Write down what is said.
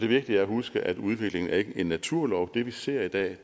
vigtigt at huske at udvikling ikke er en naturlov det vi ser i dag